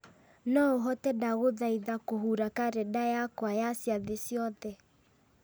no ũhote ndagũthaitha kũhura karenda yakwa ya ciathĩ ciothe